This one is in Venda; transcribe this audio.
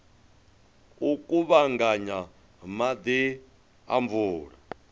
u kuvhanganya maḓi a mvula